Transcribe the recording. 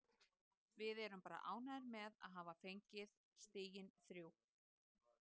Við erum bara ánægðir með að hafa fengið stigin þrjú.